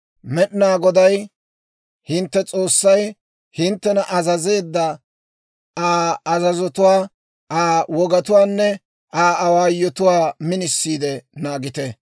Med'inaa Goday hintte S'oossay hinttena azazeedda Aa azazotuwaa, Aa wogatuwaanne Aa awaayotuwaa minisiide naagite.